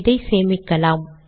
இதை சேமிக்கலாம்